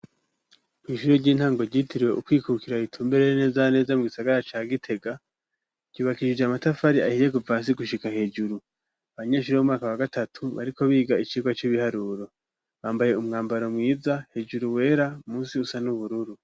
Ku ishure ry'intango ryitiriwe Ukwikukira itumbere neza neza mu gisagara ca gitega ryubakishije amatafari ahiye kuvahasi gushika hejuru abanyeshure b'umwaka wa gatatu bariko biga icigwa c'ibiharuro bambaye umwambaro mwiza hejuru wera munsi usa n'ubururu.